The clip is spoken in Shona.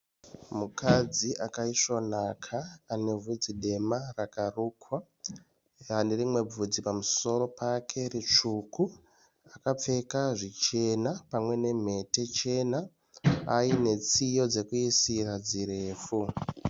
Mukadzi akaisvonaka anebvudzi dema rakarukwa anerimwe bvudzi pamusoro pake ritsvuku akapfeka zvichena pamwe nemhete chena anetsiye dzirefu.